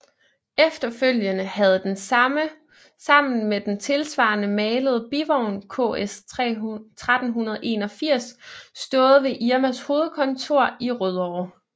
Efterfølgende havde den sammen med den tilsvarende malede bivogn KS 1381 stået ved Irmas hovedkontor i Rødovre